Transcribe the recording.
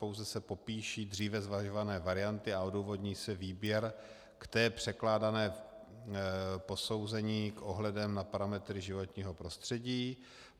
Pouze se popíší dříve zvažované varianty a odůvodní se výběr k té překládané... posouzení s ohledem na parametry životního prostředí.